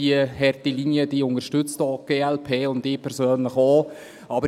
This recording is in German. Diese unterstützt die glp auch und ich persönlich ebenfalls.